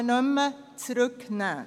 Auch dies stammt aus «Die Physiker».